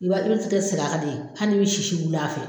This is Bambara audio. I b'a i sitɛ sigi a kan de, hali ni bɛ sisi wili a fɛ.